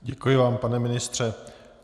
Děkuji vám, pane ministře.